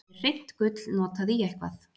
er hreint gull notað í eitthvað